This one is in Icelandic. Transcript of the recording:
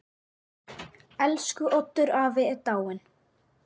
Elsku Oddur afi er dáinn.